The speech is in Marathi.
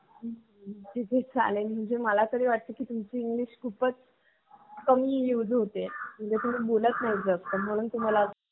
अच्छा मुलींची संख्या कमी आहे.